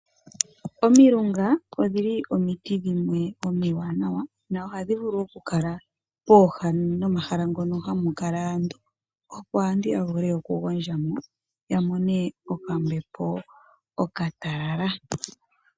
Omilunga odhili omiti dhimwe omiwanawa nohadhi vulu okukala pooha nomahala ngono hamu kala aantu opo aantu yavule oku gondjamo yamone okambepo okatalala.